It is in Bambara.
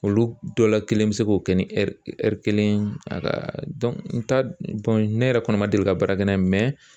Olu dɔw la kelen be se k'o kɛ ni kelen ye a ka ne yɛrɛ kɔni ma deli ka baara kɛ n'a ye